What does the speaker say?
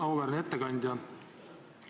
Auväärne ettekandja!